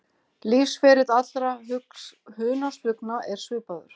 Lífsferill allra hunangsflugna er svipaður.